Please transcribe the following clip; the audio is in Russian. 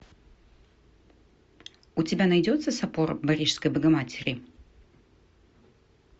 у тебя найдется собор парижской богоматери